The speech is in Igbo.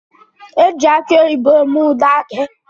Eji aki oyibo eme ude aki.